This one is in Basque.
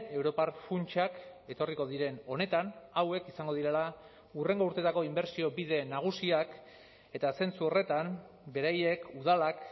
europar funtsak etorriko diren honetan hauek izango direla hurrengo urteetako inbertsio bide nagusiak eta zentzu horretan beraiek udalak